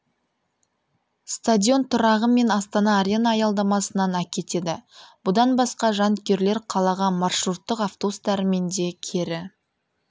стадион тұрағы мен астана арена аялдамасынан әкетеді бұдан басқа жанкүйерлер қалаға маршруттық автобустарымен де кері